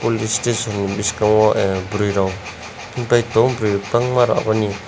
police station ni boskango ah burui rok hingpai tango burui rok bangma abo ni.